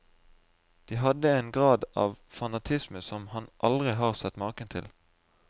De hadde en grad av fanatisme som han aldri har sett maken til.